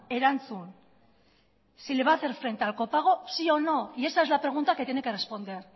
erantzun si le va a hacer frente al copago o no y esa es la pregunta que tiene que responder